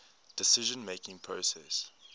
decision making process